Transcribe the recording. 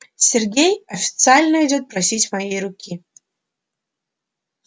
сергей официально идёт просить моей руки